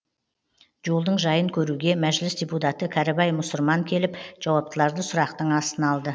жолдың жайын көруге мәжіліс депутаты кәрібай мұсырман келіп жауаптыларды сұрақтың астына алды